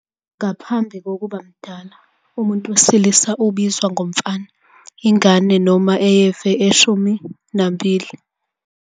Ngaphambi kokuba mdala, umuntu wesilisa ubizwa ngomfana, ingane yesilisa noma eyeve eshumini nambili.